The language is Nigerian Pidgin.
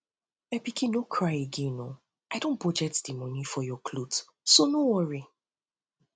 my pikin no cry again oo i don budget the money um for your cloth so no worry